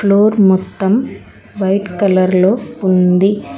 Floor మొత్తం white colour లో ఉంది.